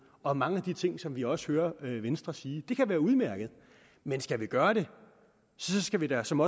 om mange af de ting som vi også hører venstre sige det kan være udmærket men skal vi gøre det skal vi da som